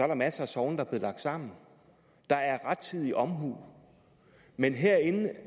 der masser af sogne der er blevet lagt sammen der er rettidig omhu men herinde